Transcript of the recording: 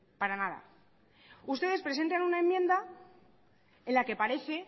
para nada ustedes presentan una enmienda en la que parece